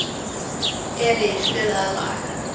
Elís, spilaðu lag.